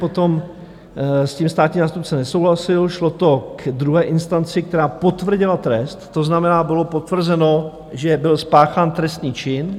Potom s tím státní zástupce nesouhlasil, šlo to k druhé instanci, která potvrdila trest, to znamená, bylo potvrzeno, že byl spáchán trestný čin.